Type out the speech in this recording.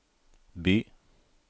by